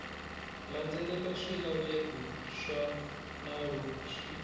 landzelela swilaveko swa nawu swi